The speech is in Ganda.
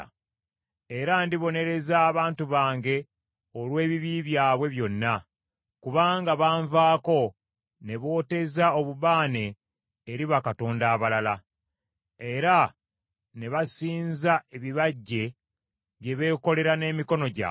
Era ndibonereza abantu bange olw’ebibi byabwe byonna, kubanga banvaako ne booteeza obubaane eri bakatonda abalala, era ne basinza ebibajje bye beekolera n’emikono gyabwe.